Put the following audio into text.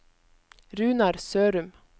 Runar Sørum